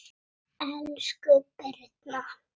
Elsku Birna